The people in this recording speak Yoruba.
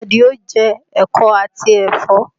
Àdìó jẹ ẹ̀kọ́ àti ẹ̀fọ́